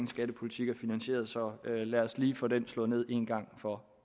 skattepolitik er finansieret så lad os lige få den slået ned en gang for